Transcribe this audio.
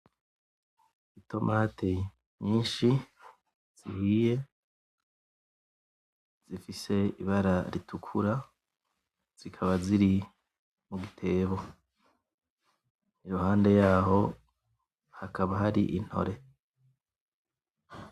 Itomati nyinshi zihiye zifise ibara ritukura zikaba ziri mu gitebo iruhande yaho hakaba hari intore.